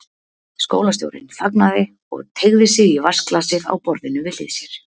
Skólastjórinn þagnaði og teygði sig í vatnsglasið á borðinu við hlið sér.